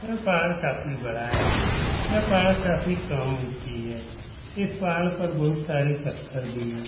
यह पहाड़ काफी बड़ा है। यह पहाड़ काफी कम ऊंची है। इस पहाड़ पर बहोत सारे पत्थर भी हैं।